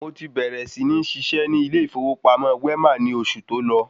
Mo ti bèrè sí ní ṣiṣẹ́ ní ilé ìfọwọ́sowọ́pọ̀ Wema ni oṣù tọ́lọ